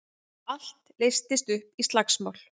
Allt leystist upp í slagsmál.